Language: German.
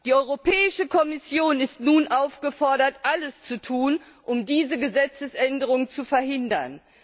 Die Europäische Kommission ist nun aufgefordert, alles zu tun, um diese Gesetzesänderung zu verhindern.